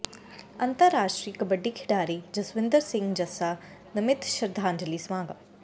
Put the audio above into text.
ਅੰਤਰਰਾਸ਼ਟਰੀ ਕਬੱਡੀ ਖਿਡਾਰੀ ਜਸਵਿੰਦਰ ਸਿੰਘ ਜੱਸਾ ਨਮਿਤ ਸ਼ਰਧਾਂਜਲੀ ਸਮਾਗਮ